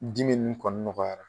Dimi nn kɔni nɔgɔya